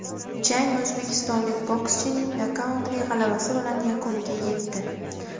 Jang o‘zbekistonlik bokschining nokautli g‘alabasi bilan yakuniga yetdi.